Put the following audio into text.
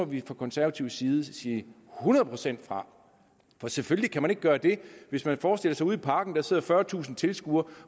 vi fra konservativ side sige hundrede procent fra for selvfølgelig kan man ikke gøre det hvis man forestiller sig ude i parken sidder fyrretusind tilskuere